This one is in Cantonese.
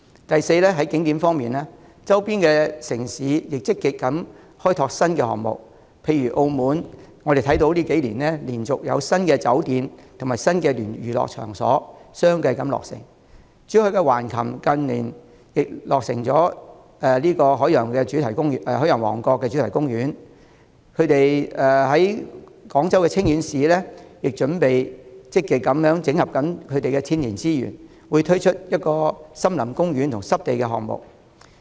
第四，在景點方面，周邊城市亦積極開拓新項目，例如澳門在這幾年接連有新酒店及新娛樂場落成；珠海橫琴近年亦有新落成的海洋王國主題樂園；廣東清遠市正積極整合天然資源，將會推出森林公園和濕地公園項目。